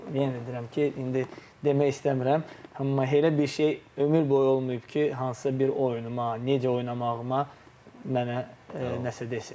Amma yenə də deyirəm ki, indi demək istəmirəm, amma elə bir şey ömür boyu olmayıb ki, hansısa bir oyunuma, necə oynamağıma mənə nəsə desin.